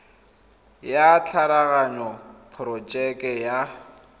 ya tshwaraganyo ya porojeke ya